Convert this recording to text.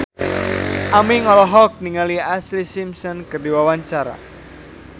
Aming olohok ningali Ashlee Simpson keur diwawancara